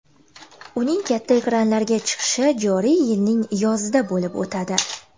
Uning katta ekranlarga chiqishi joriy yilning yozida bo‘lib o‘tadi.